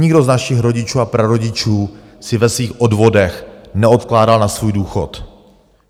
Nikdo z našich rodičů a prarodičů si ve svých odvodech neodkládal na svůj důchod.